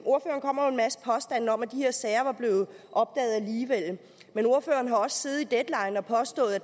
masse påstande om at de her sager var blevet opdaget alligevel men ordføreren har også siddet i deadline og påstået at